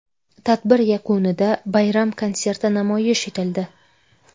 Tadbir yakunida bayram konserti namoyish etildi.